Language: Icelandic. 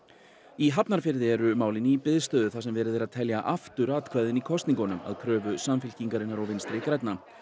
í Hafnarfirði eru málin í biðstöðu þar sem verið er að telja aftur atkvæðin í kosningunum að kröfu Samfylkingarinnar og Vinstri grænna